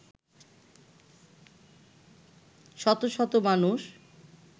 শত শত মানুষ